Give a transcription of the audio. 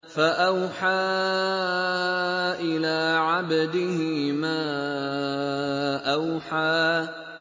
فَأَوْحَىٰ إِلَىٰ عَبْدِهِ مَا أَوْحَىٰ